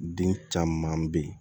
Den caman bɛ yen